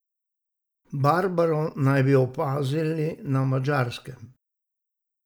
Barbaro naj bi opazili na Madžarskem.